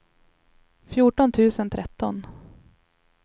fjorton tusen tretton